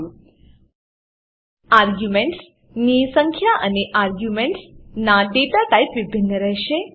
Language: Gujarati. આર્ગ્યુમેન્ટસ આર્ગ્યુંમેંટ્સ ની સંખ્યા અને આર્ગ્યુમેન્ટસ આર્ગ્યુંમેંટ્સ ના data ટાઇપ ડેટા ટાઈપ વિભિન્ન રહેશે